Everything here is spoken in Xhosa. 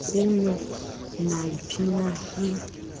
kuyo nayiphina i